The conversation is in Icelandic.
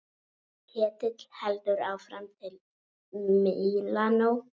Ketill heldur áfram til Mílanó.